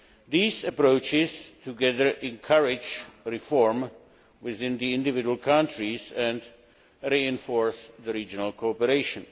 These approaches together encourage reform within individual countries, and reinforce regional cooperation.